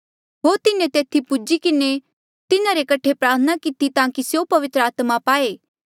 होर तिन्हें तेथी पूजी किन्हें तिन्हारे कठे प्रार्थना किती ताकि स्यों पवित्र आत्मा पाए